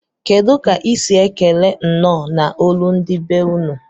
Kedu ka isi ekele nnọ na olu ndi be unu?